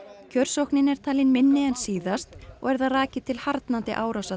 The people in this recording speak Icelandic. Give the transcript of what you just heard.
kjörsóknin er talin vera minni en síðast og er það rakið til harðnandi árása